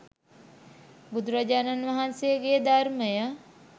බුදුරජාණන් වහන්සේගේ ධර්මය